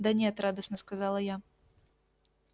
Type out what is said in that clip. да нет радостно сказала я